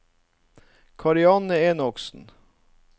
Karianne Enoksen